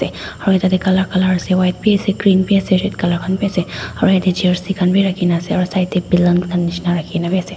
aru tatae colour colour ase white biase green biase red colour khan bi ase aro yatae jersey khan bi rakhina ase aro side tae balan khan nishina bi rakhi na biase.